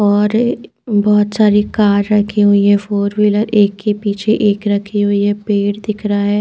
और बहोत सारी कार रखी हुई है फोर विलर एक के पीछे एक रखी हुई है पैड दिख रहा है।